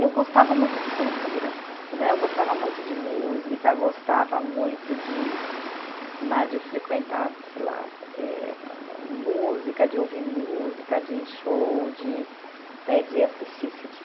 Eu gostava muito de cultura né, eu gostava muito de música, gostava muito de né, de frequentar, sei lá, eh ah música, de ouvir música, de show, de né de assistir esse tipo